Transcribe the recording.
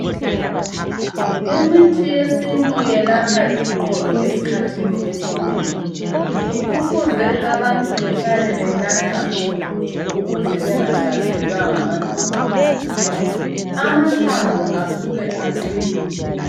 Imithi yesintu yelapha iqolo esikhathini esinengi. Kufuze abantu behlale benatha mtshokotsho ukuze bengahlaselwa ngamadolo. Amathambo asuka eqine.